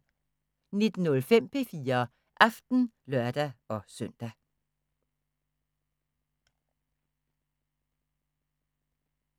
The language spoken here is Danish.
19:05: P4 Aften (lør-søn)